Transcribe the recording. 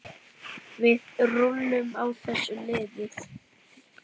Við rúllum á þessu liði.